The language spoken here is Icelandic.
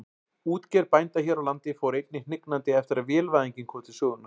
Útgerð bænda hér á landi fór einnig hnignandi eftir að vélvæðingin kom til sögunnar.